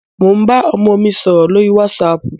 Mo ń bá ọmọ mi sọ̀rọ̀ lórí wásaàpù.